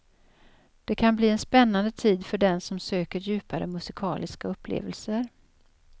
Det kan bli en spännande tid för den som söker djupare musikaliska upplevelser.